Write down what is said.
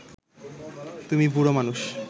তুমি বুড়ো মানুষ